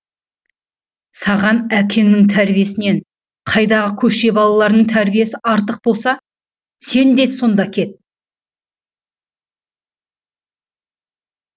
саған әкеңнің тәрбиесінен қайдағы көше балаларының тәрбиесі артық болса сен де сонда кет